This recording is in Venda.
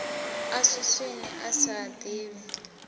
a swiswini a sa ḓivhi